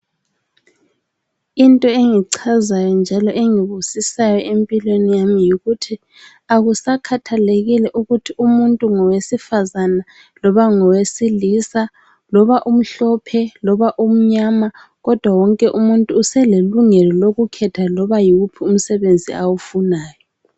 Into engichazayo njalo engibusisayo empilweni yami yikuthi akusakhathalekile ukuthi umuntu ngowesifazana loba ngowesilisa loba umhlophe loba umnyama kodwa wonke umuntu uselelungelo lokukhetha loba yiwuphi umsebenzi awufunayo.